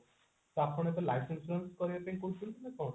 ତ ଆପଣ ଏବେ life insurance କରିବା ପାଇଁ କହୁଛନ୍ତି ନା କଣ